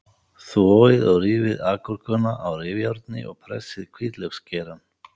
Þvoið og rífið agúrkuna á rifjárni og pressið hvítlauksgeirann.